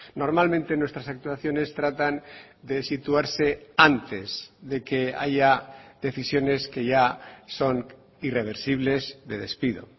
normalmente nuestras actuaciones tratan de situarse antes de que haya decisiones que ya son irreversibles de despido